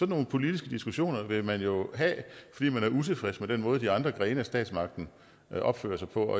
nogle politiske diskussioner vil man jo have fordi man er utilfreds med den måde de andre grene af statsmagten opfører sig på